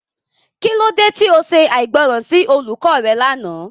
Kilode ti o ṣe aigbọran si olukọ rẹ làná?